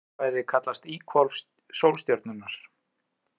Þetta svæði kallast lífhvolf sólstjörnunnar.